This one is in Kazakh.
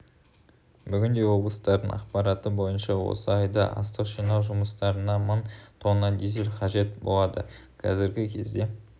бүгінде облыстардың ақпараты бойынша осы айда астық жинау жұмыстарына мың тонна дизель қажет болады қазіргі кезде